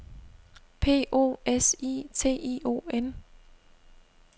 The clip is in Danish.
P O S I T I O N